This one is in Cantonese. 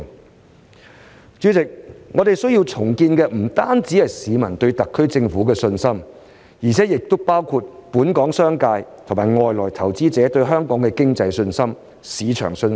代理主席，我們需要重建的不僅是市民對特區政府的信心，而且也包括本港商界和外來投資者對香港經濟及市場的信心。